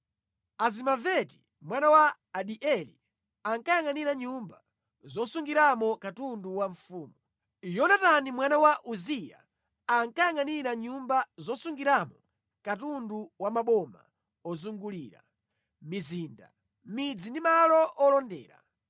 Azimaveti mwana wa Adieli ankayangʼanira nyumba zosungiramo katundu wa mfumu. Yonatani mwana wa Uziya ankayangʼanira nyumba zosungiramo katundu wa maboma ozungulira, mizinda, midzi ndi malo olondera.